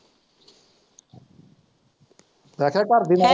ਮੈਂ ਕਿਹਾ ਘਰਦੀ ਨਾ।